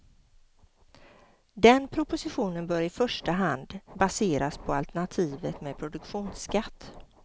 Den propositionen bör i första hand baseras på alternativet med produktionsskatt.